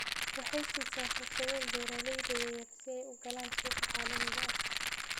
Waxay siisaa fursado beeralayda yaryar si ay u galaan suuqa caalamiga ah.